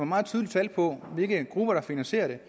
meget tydelige tal på hvilke grupper der finansierer det